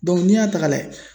Dɔnku n'i y'a ta ka lajɛ